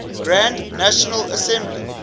grand national assembly